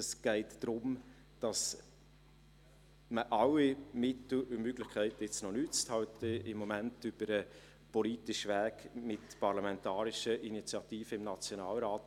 Es geht darum, dass man alle Mittel und Möglichkeiten jetzt noch nutzt, im Moment über den politischen Weg mit parlamentarischen Initiativen im Nationalrat.